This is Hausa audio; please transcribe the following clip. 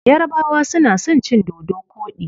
Yarabawa suna son cin dodo koɗi.